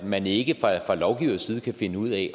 man ikke fra lovgivers side kan finde ud af